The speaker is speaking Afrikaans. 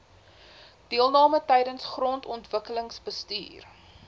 deelname tydens grondontwikkelingsbestuur